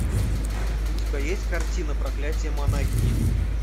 у тебя есть картина проклятие монахини